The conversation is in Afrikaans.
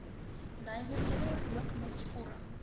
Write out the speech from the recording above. nywerhede rookmis vorm